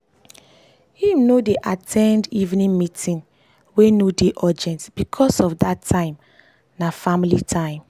him no dey at ten d evening meeting wey no dey urgent becos of dat time na family time.